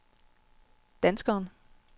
danskeren